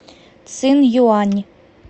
цинъюань